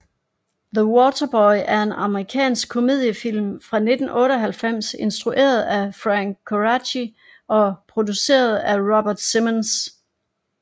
The Waterboy er en amerikansk komediefilm fra 1998 instrueret af Frank Coraci og produceret af Robert Simonds